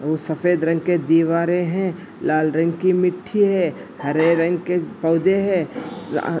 वह सफ़ेद रंग के दीवारे हे| लाल रंग की मिट्ठी हे | हरे रंग के पौधे हे --